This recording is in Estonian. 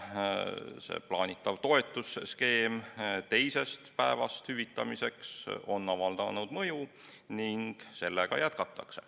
See toetusskeem, mille alusel hüvitatakse teisest haiguspäevast alates, on avaldanud mõju ning seda jätkatakse.